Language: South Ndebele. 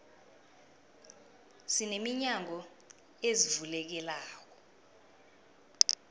sine minyango ezivulekelako